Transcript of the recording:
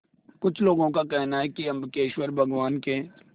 कुछ लोगों को कहना है कि अम्बकेश्वर भगवान शिव के